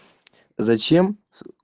зачем с